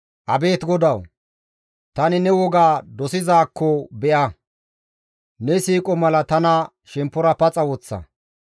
Abeet GODAWU! Tani ne woga dosizaakko be7a; ne siiqo mala tana shemppora paxa woththa.